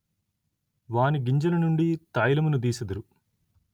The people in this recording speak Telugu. వాని గింజల నుండి తైలమును దీసెదరు